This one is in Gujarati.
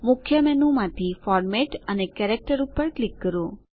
મુખ્ય મેનુમાંથી ફોર્મેટ અને કેરેક્ટર પર ક્લિક કરો